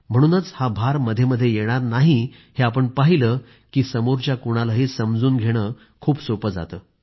म्हणून हा भार मधेमधे येणार नाही हे आपण पाहिलं की समोरच्या कुणालाही समजून घेणं खूप सोपं जातं